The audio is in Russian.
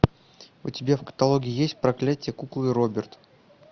у тебя в каталоге есть проклятие куклы роберт